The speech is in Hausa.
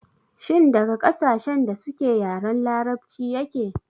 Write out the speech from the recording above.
Shin daga ƙasashen da suke yaren larabci yake?